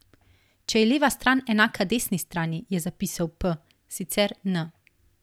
Če je leva strani enaka desni strani, je zapisal p, sicer n.